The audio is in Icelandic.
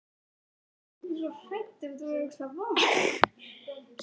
Mér var fyrirmunað að tengja saman kynlíf og ást.